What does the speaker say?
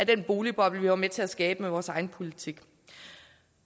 den boligboble vi var med til at skabe med vores egen politik